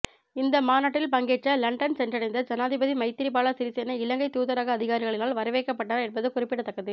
இந்த மாநாட்டில் பங்கேற்க இலண்டன் சென்றடைந்த ஜனாதிபதி மைத்திரிபால சிறிசேன இலங்கை தூதரக அதிகாரிகளினால் வரவேற்கப்பட்டனர் என்பது குறிப்பிடத்தக்கதுஃஃ